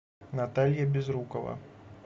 наталья безрукова